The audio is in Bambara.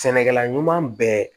Sɛnɛkɛla ɲuman bɛɛ